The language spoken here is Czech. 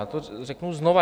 Já to řeknu znovu.